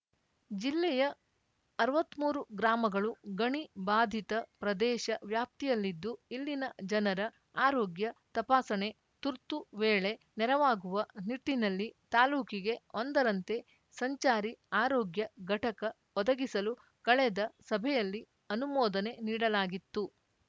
ಜಿಲ್ಲೆಯ ಅರ್ವತ್ಮೂರು ಗ್ರಾಮಗಳು ಗಣಿ ಬಾಧಿತ ಪ್ರದೇಶ ವ್ಯಾಪ್ತಿಯಲ್ಲಿದ್ದು ಇಲ್ಲಿನ ಜನರ ಆರೋಗ್ಯ ತಪಾಸಣೆ ತುರ್ತು ವೇಳೆ ನೆರವಾಗುವ ನಿಟ್ಟಿನಲ್ಲಿ ತಾಲೂಕಿಗೆ ಒಂದರಂತೆ ಸಂಚಾರಿ ಆರೋಗ್ಯ ಘಟಕ ಒದಗಿಸಲು ಕಳೆದ ಸಭೆಯಲ್ಲಿ ಅನುಮೋದನೆ ನೀಡಲಾಗಿತ್ತು